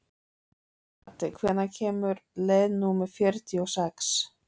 Addi, hvenær kemur leið númer fjörutíu og sex?